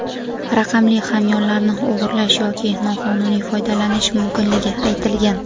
raqamli hamyonlarni o‘g‘irlash yoki noqonuniy foydalanish mumkinligi aytilgan.